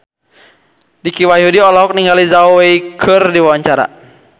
Dicky Wahyudi olohok ningali Zhao Wei keur diwawancara